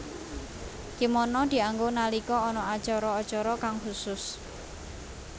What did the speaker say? Kimono dianggo nalika ana acara acara kang khusus